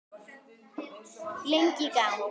Lengi í gang.